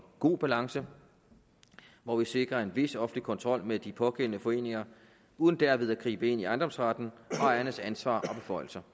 god balance hvor vi sikrer en vis offentlig kontrol med de pågældende foreninger uden derved at gribe ind i ejendomsretten og ejernes ansvar og beføjelser